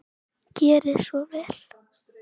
Gerið svo vel.